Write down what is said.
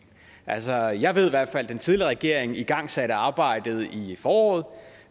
altså jeg ved i hvert fald at den tidligere regering igangsatte arbejdet i foråret